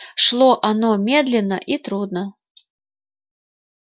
шло оно медленно и трудно